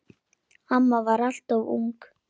Amma var alltaf ung.